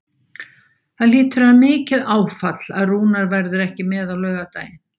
Það hlýtur að vera mikið áfall að Rúnar verður ekki með á laugardaginn?